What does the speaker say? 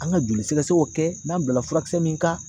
An ka joli sɛgɛsɛgɛw kɛ n'an bilala furakisɛ min kan